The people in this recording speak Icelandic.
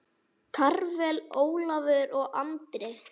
Karvel, Ólafur og Andri.